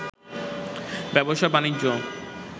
ব্যবসা-বাণিজ্য